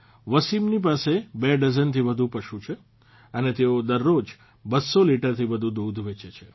વસીમની પાસે બે ડઝનથી વધુ પશુ છે અને તેઓ દરરોજ 200 લીટરથી વધુ દૂધ વેચે છે